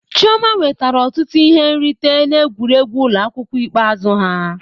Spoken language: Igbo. Chioma nwetara ọtụtụ ihe nrite n'egwuregwu ụlọ akwụkwọ ikpeazụ ha.